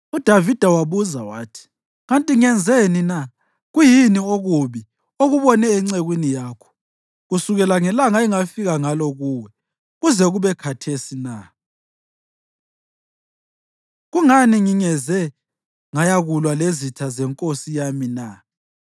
UDavida wabuza wathi, “Kanti ngenzeni na? Kuyini okubi okubone encekwini yakho kusukela ngelanga engafika ngalo kuwe kuze kube khathesi na? Kungani ngingeze ngayakulwa lezitha zenkosi yami na?”